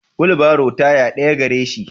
Wulbaro taya daya gareshi.